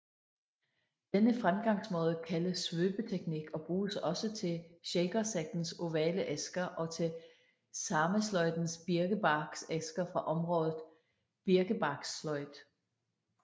Denne fremgangsmåde kaldes svøbeteknik og bruges også til shakersektens ovale æsker og til samesløjdens birkebarksæsker fra området birkebarkssløjd